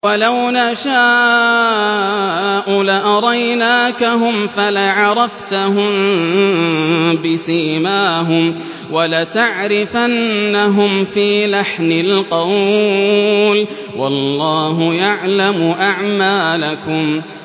وَلَوْ نَشَاءُ لَأَرَيْنَاكَهُمْ فَلَعَرَفْتَهُم بِسِيمَاهُمْ ۚ وَلَتَعْرِفَنَّهُمْ فِي لَحْنِ الْقَوْلِ ۚ وَاللَّهُ يَعْلَمُ أَعْمَالَكُمْ